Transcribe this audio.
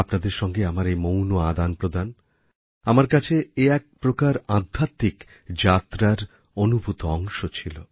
আপনাদের সঙ্গে আমার এই মৌণ আদানপ্রদান আমার কাছে এ এক প্রকার আধ্যাত্মিক যাত্রার অনুভূত অংশ ছিল